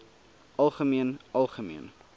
algemeen algemeen